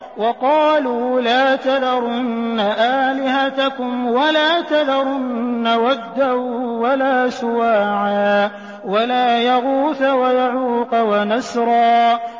وَقَالُوا لَا تَذَرُنَّ آلِهَتَكُمْ وَلَا تَذَرُنَّ وَدًّا وَلَا سُوَاعًا وَلَا يَغُوثَ وَيَعُوقَ وَنَسْرًا